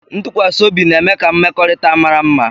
Ntụkwasị obi na-eme ka mmekọrịta mara mma